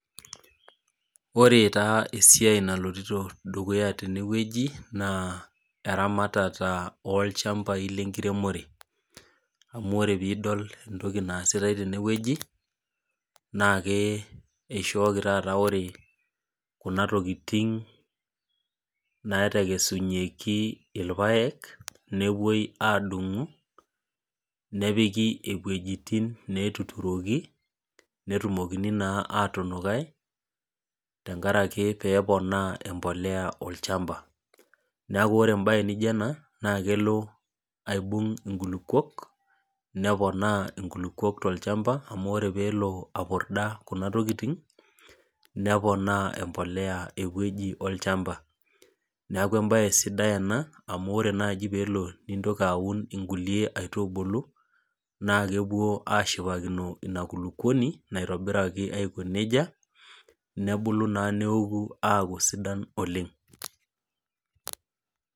Ore taa esiai naloito dukuya teneweji naa eramatata olchamapai lenkiremore. Amu ore pee idol entoki naasitae teneweji naa ore Kuna tokiting naatekesunyieki irpaek, nepuoi adungu, nepiki wejitin netuturoki ,netumokini naa atunguai tenkaraki pee eponu embolea olchampa. Neeku ore embae naijo ena naa kelo aibung nkulupuok, neponaa nkulupuok tolchampa amu ore pee epurda kuna tokiting, neponaa embolea eweji olchampa. Neeku embae sidai ena amu ore naaji pee elo nintoki aun nkulie aitubulu ,naa kepuo ashipakino ina kulupuoni naitobiruaki aiko najeia nebulu naa aaku sidan oleng.